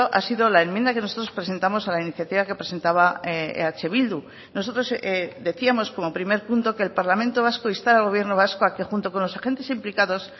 ha sido la enmienda que nosotros presentamos a la iniciativa que presentaba eh bildu nosotros decíamos como primer punto que el parlamento vasco instara al gobierno vasco a que junto con los agentes implicados